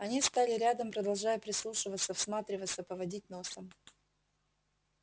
они стали рядом продолжая прислушиваться всматриваться поводить носом